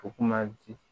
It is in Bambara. U kuma di